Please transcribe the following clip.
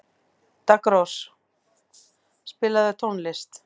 Daggrós, spilaðu tónlist.